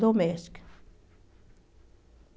Doméstica.